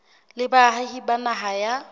le baahi ba naha ya